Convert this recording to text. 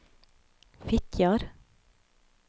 Fitjar